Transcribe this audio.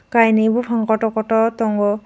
kainui bopang kotor kotor tongo.